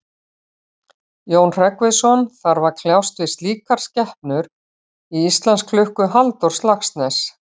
Jón Hreggviðsson þarf að kljást við slíkar skepnur í Íslandsklukku Halldórs Laxness.